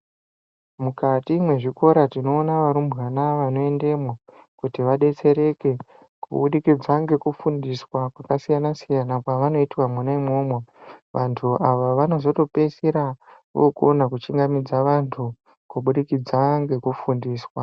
Mukati mezvikora tinoona varumbwana vanoendamo kuti vadetsereke kubudikidza ngekufundiswa kwakasiyana siyana kwavanoitwa mwona imwomwo vantu ava vanozopedzusira vokona kuchingamidza vantu kubudikidza ngekufundiswa.